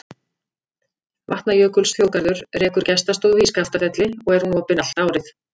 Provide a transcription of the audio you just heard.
Vatnajökulsþjóðgarður rekur gestastofu í Skaftafelli og er hún opin allt árið.